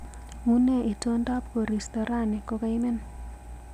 Unee itondab koristo rani kogaimen